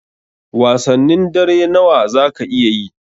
Wasannin dare nawa zaka iya yi?